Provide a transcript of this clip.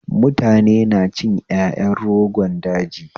Mutane na cin ƴaƴan rogon daji